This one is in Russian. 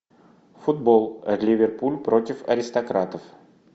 футбол ливерпуль против аристократов